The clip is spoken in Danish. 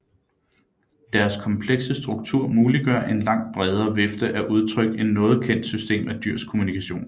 Deres komplekse struktur muliggør en langt bredere vifte af udtryk end noget kendt system af dyrs kommunikation